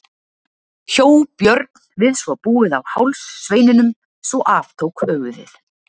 Hjó Björn við svo búið á háls sveininum svo af tók höfuðið.